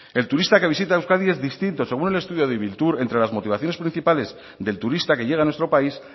el turista que visita euskadi es distinto según el estudio de ibiltur entre las motivaciones principales del turista que llega a nuestro país